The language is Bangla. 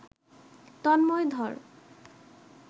তন্ময় ধর